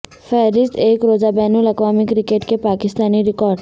فہرست ایک روزہ بین الاقوامی کرکٹ کے پاکستانی ریکارڈ